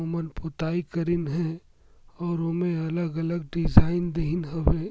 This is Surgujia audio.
वो मन पुताई करीन है अउ उमे अलग - अलग डिज़ाइन देहिन हवे।